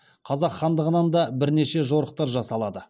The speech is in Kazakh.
қазақ хандығынан да бірнеше жорықтар жасалады